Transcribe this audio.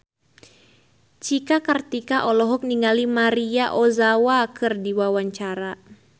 Cika Kartika olohok ningali Maria Ozawa keur diwawancara